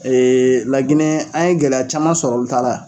Ee laginɛ an ye gɛlɛya caman sɔrɔ olu ta la